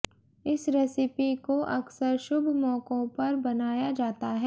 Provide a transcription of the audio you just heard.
इस रेसिपी को अक्सर शुभ मौकों पर बनाया जाता है